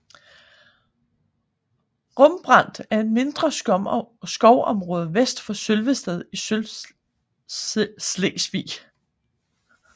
Rumbrand er et mindre skovområde vest for Sølvested i Sydslesvig